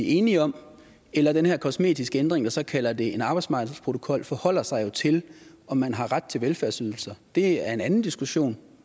enige om eller den her kosmetiske ændring de så kalder en arbejdsmarkedsprotokol forholder sig jo til om man har ret til velfærdsydelser det er en anden diskussion